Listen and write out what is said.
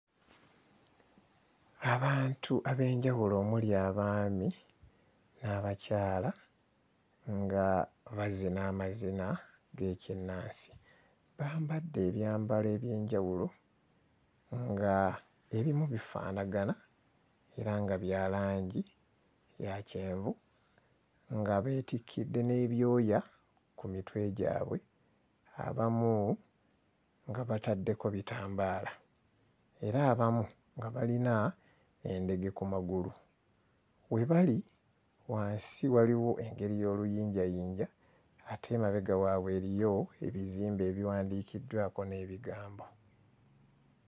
Abantu ab'enjawulo omuli abaami n'abakyala nga bazina amazina g'ekinnansi. Bambadde ebyambalo eby'enjawulo ng'ebimu bifaanagana era nga bya langi ya kyenvu nga beetikidde n'ebyoya ku mitwe gyabwe, abamu nga bataddeko bitambaala era abamu nga balina endege ku magulu. We bali wansi waliwo engeri y'oluyinjayinja ate emabega waabwe eriyo ebizimbe ebiwandiikiddwako n'ebigambo.